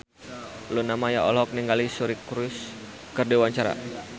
Luna Maya olohok ningali Suri Cruise keur diwawancara